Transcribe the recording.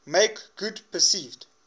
make good perceived